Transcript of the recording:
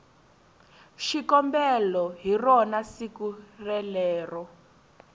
xikombelo hi rona siku relero